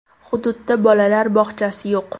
Hududdda bolalar bog‘chasi yo‘q.